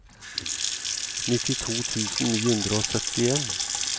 nittito tusen ni hundre og syttien